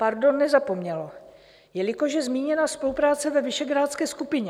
Pardon, nezapomnělo, jelikož je zmíněna spolupráce ve Visegrádské skupině.